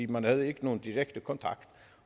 man havde ikke nogen direkte kontakt